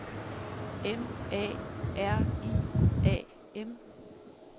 M A R I A M